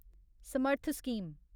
Samarth scheme